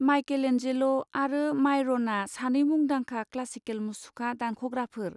माइकेलेन्जेल'आरो मायरनआ सानै मुंदांखा क्लासिकेल मुसुखा दानख'ग्राफोर।